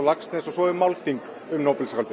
Laxness og svo er málþing um